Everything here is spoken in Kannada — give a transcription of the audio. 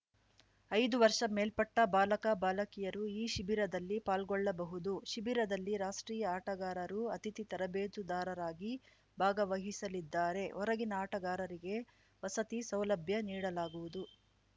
ಐದು ವರ್ಷ ಮೇಲ್ಪಟ್ಟ ಬಾಲಕ ಬಾಲಕಿಯರು ಈ ಶಿಬಿರದಲ್ಲಿ ಪಾಲ್ಗೊಳ್ಳಬಹುದು ಶಿಬಿರದಲ್ಲಿ ರಾಷ್ಟ್ರೀಯ ಆಟಗಾರರು ಅತಿಥಿ ತರಬೇತುದಾರರಾಗಿ ಭಾಗವಹಿಸಲಿದ್ದಾರೆ ಹೊರಗಿನ ಆಟಗಾರರಿಗೆ ವಸತಿ ಸೌಲಭ್ಯ ನೀಡಲಾಗುವುದು